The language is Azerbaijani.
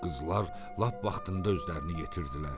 Qızlar lap vaxtında özlərini yetirdilər.